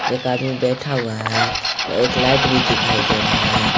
एक आदमी बैठा हुआ है व एक लाइट भी दिखाई दे रहा है।